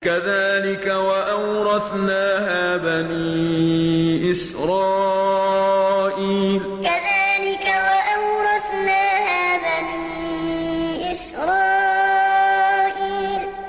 كَذَٰلِكَ وَأَوْرَثْنَاهَا بَنِي إِسْرَائِيلَ كَذَٰلِكَ وَأَوْرَثْنَاهَا بَنِي إِسْرَائِيلَ